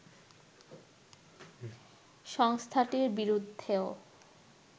সংস্থাটির বিরুদ্ধেও